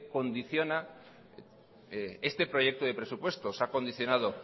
condiciona este proyecto de presupuestos ha condicionado